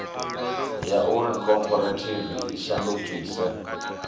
ya uri khophorethivi i shandukise